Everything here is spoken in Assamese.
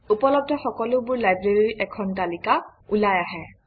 উপলব্ধ সকলোবোৰ library ৰ এখন তালিকা ওলাই আহে